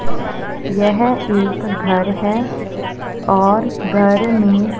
यह एक घर है और घर में--